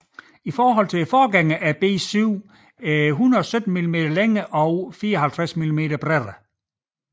I forhold til forgængeren B7 er bilen 117 mm længere og 54 mm bredere